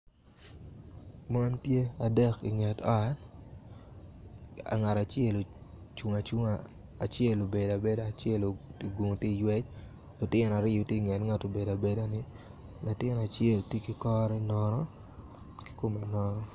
Mon tye adek inget ot ngat acel ocung acunga acel obedo abeda acel ogungu tye iywec lutino aryo tye inget nget ngat ma obedo abeda ni latin acel tye ki kore nono ki kome nono